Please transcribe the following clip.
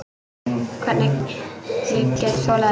Hvernig ég get þolað þig?